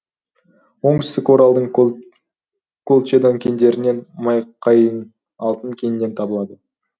оңтүстік оралдың колчедан кендерінен майқайың алтын кенінен табылды